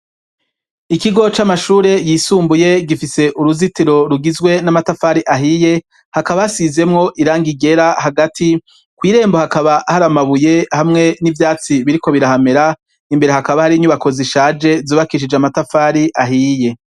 Ikigo c'amashure yisumbuye gifise uruzitiro rugizwe n'amatafari ahiye. Hakaba hasizemwo irangi ryera. Hagati kw'irembo, hakaba hari amabuye, hamwe n'vyatsi biriko birahamera. Imbere hakaba hari inyubako zishaje zubakishije amatafari ahiye.